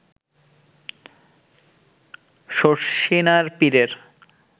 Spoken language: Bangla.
শর্ষিনার পীরের